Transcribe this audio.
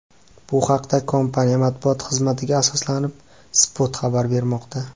Bu haqda, kompaniya matbuot xizmatiga asoslanib, Spot xabar bermoqda .